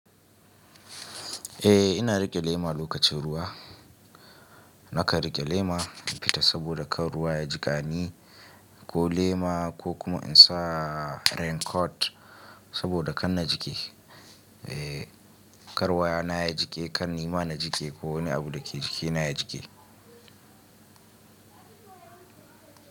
Eh ina riƙe lema lokacin ruwa. Naka riƙe lema in fita saboda kan ruwa ya jiƙani ko lema ko kuma in sa raincoat saboda kan na jike. Eh, kar wayana na ya jike kan ni ma na jike ko wani abu da ke jikina ya jike.